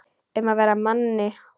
Um að vera Manni!